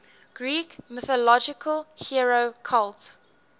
greek mythological hero cult